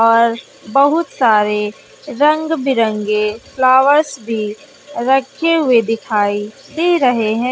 और बहुत सारे रंग बिरंगे फ्लावर्स भी रखे हुए दिखाई दे रहे हैं।